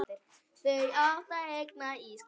Þau áttu engan ísskáp.